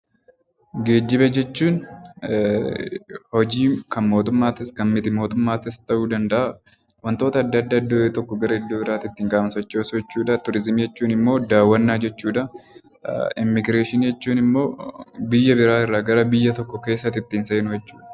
Geejjiba jechuun hojii kan mootummaatis ta'u kan miti mootummaatis ta'uu danda’a, wantoota adda addaa iddoo tokkoo gara iddoo biraatti kan sochoosu jechuudha. Turiizimii jechuun immoo daawwannaa jechuudha. Immigireeshinii jechuun immoo biyya biraa irraa gara biyya tokkootti ittiin seenuu jechuudha.